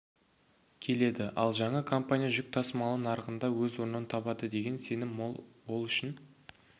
келеді ал жаңа компания жүк тасымалы нарығында өз орнын табады деген сенім мол ол үшін